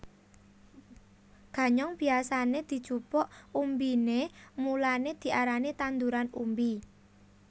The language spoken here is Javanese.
Ganyong biyasané dijupuk umbiné mulané diarani tanduran umbi